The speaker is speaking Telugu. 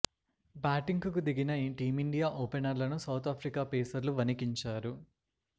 బ్యాటింగ్ కు దిగిన టీమిండియా ఓపెనర్లను సౌత్ ఆఫ్రికా పేసర్లు వణికించారు